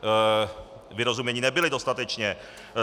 Vyrozuměni nebyli dostatečně.